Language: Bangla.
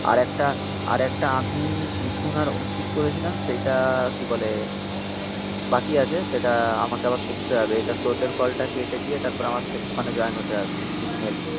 আরেকটা আরেকটা আমি মিঠুন আর অনচিত করেছিলাম. সেইটা কি বলে বাকি আছে. সেটা আমাকে আবার করতে হবে. এটা তোদের কলটা কেটে দিয়ে তারপর আমার ওখানে জয়েন হতে হবে মিঠুন এলে